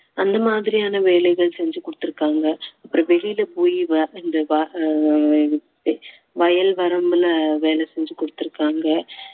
அந்த மாதிரியான வேலைகள் செஞ்சு கொடுத்திருக்காங்க அப்புறம் வெளியில போயி வர~ ஆஹ் வயல் வரம்புல வேலை செஞ்சு கொடுத்திருக்காங்க